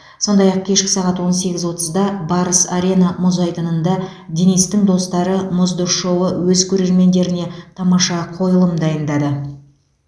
сондай ақ кешкі сағат он сегіз отызда барыс арена мұз айдынында денистің достары мұзды шоуы өз көрермендеріне тамаша қойылым дайындады